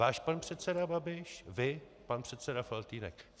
Váš pan předseda Babiš, vy, pan předseda Faltýnek.